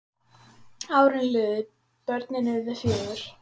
Árin liðu, börnin urðu fjögur.